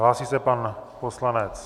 Hlásí se pan poslanec.